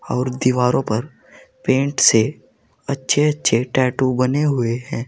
और दीवारों पर पेंट से अच्छे अच्छे टैटू बने हुए हैं।